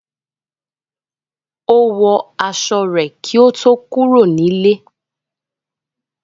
Ó wọ aṣọ rẹ̀ kí ó tó kúrò nílé.